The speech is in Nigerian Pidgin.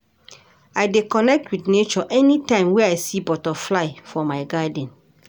I dey connect wit nature anytime wey I see butterfly for my garden.